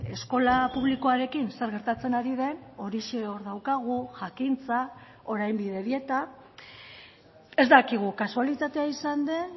eskola publikoarekin zer gertatzen ari den orixe hor daukagu jakintza orain bidebieta ez dakigu kasualitatea izan den